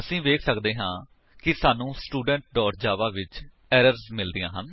ਅਸੀ ਵੇਖ ਸੱਕਦੇ ਹਾਂ ਕਿ ਸਾਨੂੰ ਟੈਸਟਸਟੂਡੈਂਟ ਜਾਵਾ ਵਿੱਚ ਏਰਰਸ ਮਿਲਦੀਆਂ ਹਨ